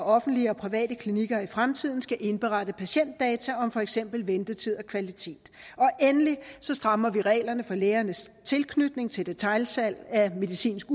offentlige og private klinikker i fremtiden skal indberette patientdata om for eksempel ventetid og kvalitet endelig strammer vi reglerne for lægernes tilknytning til detailsalg af medicinsk